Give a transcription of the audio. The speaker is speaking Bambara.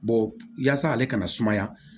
yaasa ale kana sumaya